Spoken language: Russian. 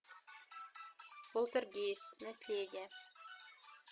полтергейст наследие